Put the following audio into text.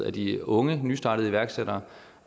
af de unge nystartede iværksættere